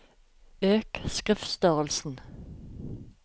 Øk skriftstørrelsen